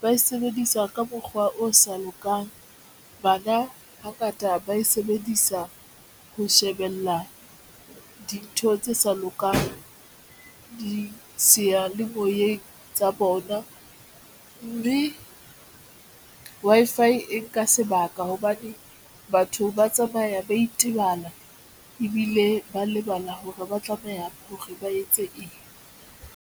ba e sebedisa ka mokgwa o sa lokang, bana hangata ba e sebedisa ho shebella dintho tse sa lokang seyalemoyeng tsa bona mme Wi-Fi e nka sebaka hobane batho ba tsamaya ba itebala ebile ba lebala hore ba tlameha hore ba etse eng.